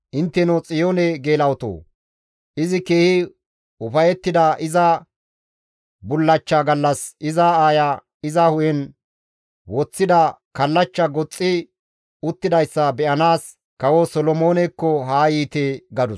«Intteno Xiyoone geela7otoo! Izi keehi ufayettida iza bullachcha gallas iza aaya iza hu7en woththida kallachcha goxxi uttidayssa be7anaas Kawo Solomoonekko haa yiite» gadus.